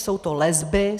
Jsou to lesby.